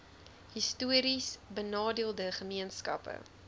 histories benadeelde gemeenskappe